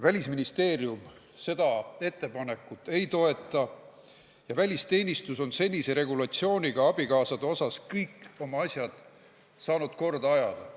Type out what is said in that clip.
Välisministeerium seda ettepanekut ei toeta ja välisteenistus on senisegi regulatsiooniga abikaasade osas kõik asjad saanud korda ajada.